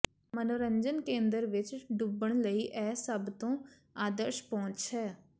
ਮਨੋਰੰਜਨ ਕੇਂਦਰ ਵਿੱਚ ਡੁੱਬਣ ਲਈ ਇਹ ਸਭ ਤੋਂ ਆਦਰਸ਼ ਪਹੁੰਚ ਹੈ